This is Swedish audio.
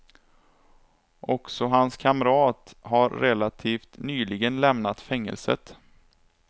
Också hans kamrat har relativt nyligen lämnat fängelset.